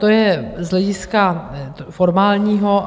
To je z hlediska formálního.